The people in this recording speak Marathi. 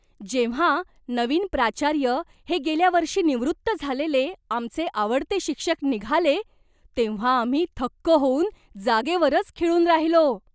जेव्हा नवीन प्राचार्य हे गेल्या वर्षी निवृत्त झालेले आमचे आवडते शिक्षक निघाले तेव्हा आम्ही थक्क होऊन जागेवरच खिळून राहिलो!